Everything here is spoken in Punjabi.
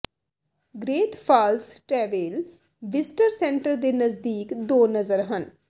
great Falls tavern visitor centre ਦੇ ਨਜ਼ਦੀਕ ਦੋ ਨਜ਼ਰ ਹਨ